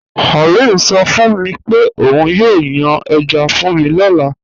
Aliu sọ fun mi pe ọun yóò yàn èjá fun mi lọ́lá.